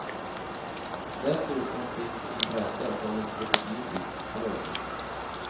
Dessutom finns intresse från en portugisisk klubb.